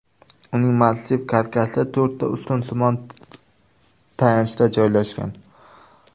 Uning massiv karkasi to‘rtta ustunsimon tayanchda joylashgan.